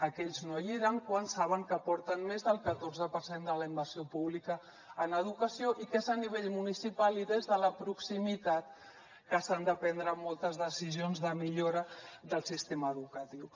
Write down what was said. aquells no hi eren quan saben que aporten més del catorze per cent de la inversió pública en educació i que és a nivell municipal i des de la proximitat que s’han de prendre moltes decisions de millora del sistema educatiu